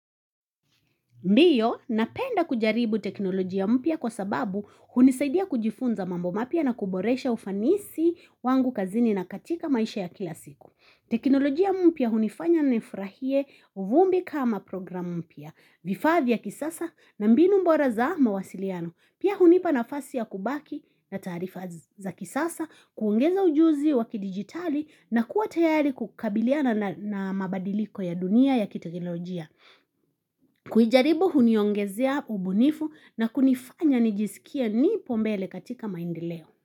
Ndio napenda kujaribu teknolojia mpya kwa sababu hunisaidia kujifunza mambo mapya na kuboresha ufanisi wangu kazini na katika maisha ya kila siku. Teknolojia mpya hunifanya nifurahie uvumbi kama programu mpya vifaa vya kisasa na mbinu bora za mawasiliano. Pia hunipa nafasi ya kubaki na taarifa za kisasa kuongeza ujuzi wakidigitali na kuwa tayari kukabiliana na mabadiliko ya dunia ya kitekinolojia. Kujaribu huniongezea ubunifu na kunifanya nijisikie nipo mbele katika maendeleo.